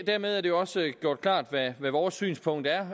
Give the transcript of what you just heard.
dermed er det også gjort klart hvad vores synspunkt er